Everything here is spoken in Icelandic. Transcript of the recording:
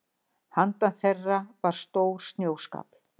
Handan þeirra var stór snjóskafl.